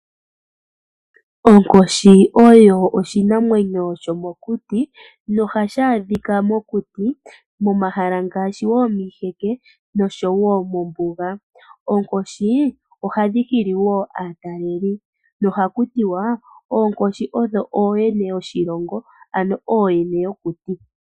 Onkoshi oyo oshinamwenyo shomokuti. Ohashi adhikwa mokuti, momahala ngaashi miiheke noshowoo mombuga. Onkoshi ohadhi hili wo aatalelipo nohaku tiwa oonkoshi odho ooyene yoshilongo ano ooyene yokuti.